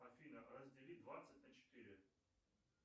афина раздели двадцать на четыре